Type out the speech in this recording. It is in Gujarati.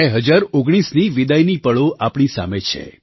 2019ની વિદાયની પળો આપણી સામે છે